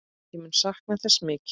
Ég mun sakna þess mikið.